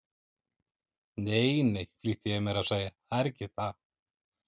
Nei, nei, flýtti ég mér að segja, það er ekki það.